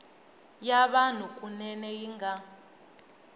ya vanhu kunene yi nga